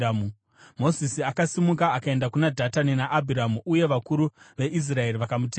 Mozisi akasimuka akaenda kuna Dhatani naAbhiramu uye vakuru veIsraeri vakamutevera.